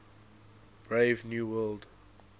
brave new world